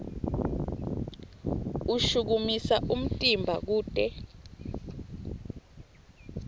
ushukumisa umtimba kute